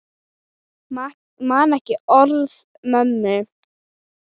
Man ekki orð mömmu.